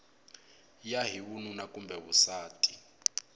ya hi vununa kumbe vusati